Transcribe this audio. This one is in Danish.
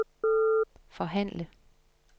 forhandle